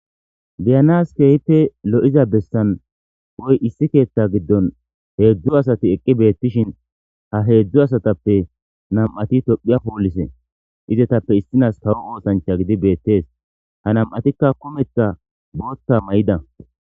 biyanas kehite lo7iza bessan woy issi keetta giddon heedzdzu asati eqqi beettishin ha heedzdzu asatappe nam7ati tophiya poollise izetappe issinas kawo oosancha gidi beettees ha nam7atikka kumetha bootta may7ida